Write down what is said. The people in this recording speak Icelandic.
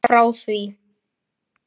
Frá því